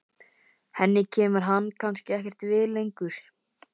Henni kemur hann kannski ekkert við lengur.